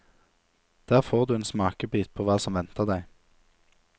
Der får du en smakebit på hva som venter deg.